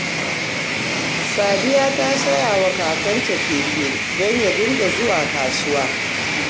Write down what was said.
Sadiya ta saya wa Kakanta keke don ya dinga zuwa kasuwa